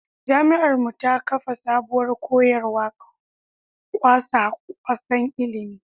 Jami’ar mu ta kafa sabuwar koyarwar kwasa-kwasan ilimi.